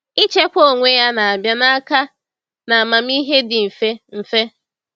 Ichekwa onwe ya na-abịa n’aka na amamihe dị mfe. mfe.